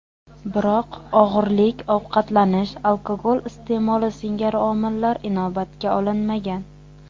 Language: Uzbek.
Biroq og‘irlik, ovqatlanish, alkogol iste’moli singari omillar inobatga olinmagan.